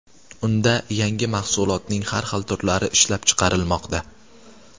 Unda yangi mahsulotning har xil turlari ishlab chiqarilmoqda.